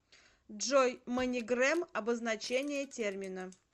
джой манигрэм обозначение термина